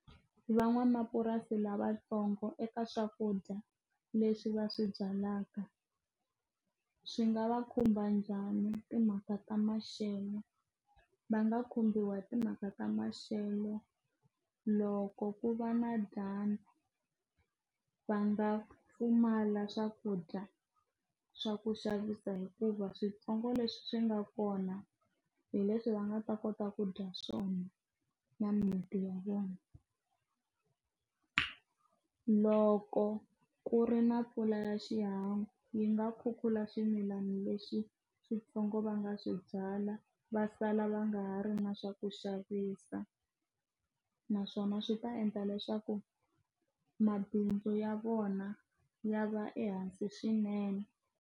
Van'wamapurasi lavatsongo eka swakudya leswi va swi byalaka swi nga va khumba njhani timhaka ta maxelo va nga khumbiwa hi timhaka ta maxelo loko ku va na dyambu va nga pfumala swakudya swa ku xavisa hikuva switsongo leswi swi nga kona hi leswi va nga ta kota ku dya swona na mimiti ya vona ku loko ku ri na mpfula ya xihangu yi nga khukhula swimilana leswi xiphongo va nga swi byala va sala va va nga ri na swa ku xavisa naswona swi ta endla leswaku mabindzu ya vona ya va ehansi swinene.